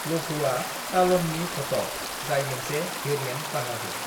लघूआ तालमनि घटक जाय मोनसे भेरिएन्ट बाहागो।